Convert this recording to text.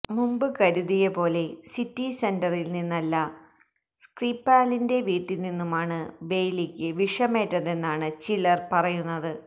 മുമ്പ് കരുതിയ പോലെ സിറ്റി സെന്ററില് നിന്നല്ല സ്ക്രിപാലിന്റെ വീട്ടില് നിന്നുമാണ് ബെയ്ലിക്ക് വിഷമേറ്റതെന്നാണ് ചിലര് പറയുന്നത്